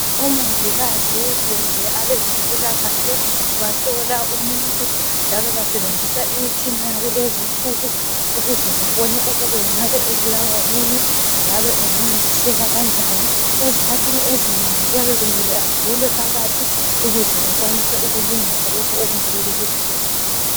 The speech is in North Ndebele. Omongikazi kumbe abezempilakahle bahlola umuntu njalo basebenzisa imitshina yakulezi nsuku, ukuze babone ukuba engaba ebulawa yini njalo engancediseka kanjani. Ezikhathini ezinengi kuyabe kumele avulwe phakathi ukuze bakwanise ukulungisa lokho okungabe kubuhlungu.